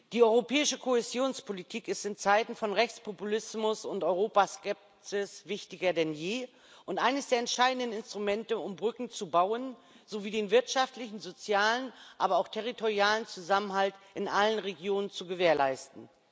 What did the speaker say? Die europäische Kohäsionspolitik ist in Zeiten von Rechtspopulismus und Europaskepsis wichtiger denn je und eines der entscheidenden Instrumente, um Brücken zu bauen sowie den wirtschaftlichen, sozialen, aber auch territorialen Zusammenhalt in allen Regionen zu gewährleisten.